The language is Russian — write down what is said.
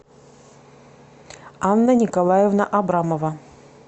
анна николаевна абрамова